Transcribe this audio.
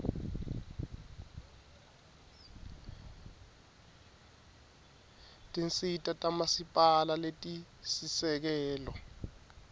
tinsita tamasipala letisisekelo